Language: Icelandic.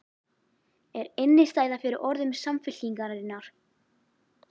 Er innistæða fyrir orðum Samfylkingarinnar?